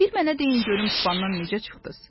Bir mənə deyin görüm tufandan necə çıxdınız?